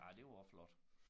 Ej det var også flot